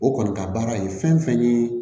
O kɔni ka baara ye fɛn fɛn ye